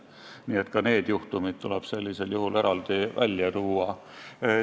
Nii et ka need juhtumid tuleks eraldi välja tuua.